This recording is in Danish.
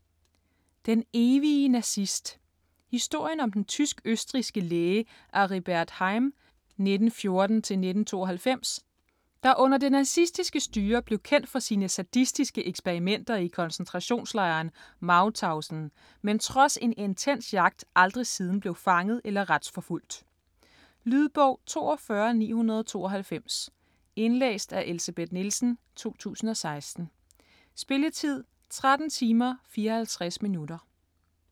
Den evige nazist Historien om den tysk-østrigske læge Aribert Heim (1914-1992), der under det nazistiske styre blev kendt for sine sadistiske eksperimenter i koncentrationslejren Mauthausen, men trods en intens jagt aldrig siden blev fanget eller retsforfulgt. Lydbog 42992 Indlæst af Elsebeth Nielsen, 2016. Spilletid: 13 timer, 54 minutter.